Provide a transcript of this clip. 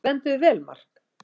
Þú stendur þig vel, Mark!